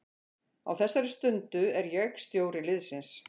Á þessari stundu er ég stjóri liðsins.